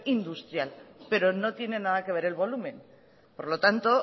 industrial pero no tiene nada que ver el volumen por lo tanto